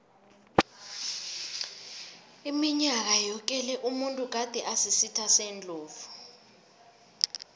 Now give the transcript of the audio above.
iminyaka yoke le umuntu gade asisitha sendlovu